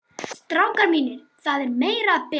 STRÁKAR MÍNIR, ÞAÐ ER MEIRA AÐ BERA.